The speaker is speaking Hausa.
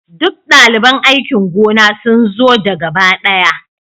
Duk daliban aikin gona sun zo da gaba ɗaya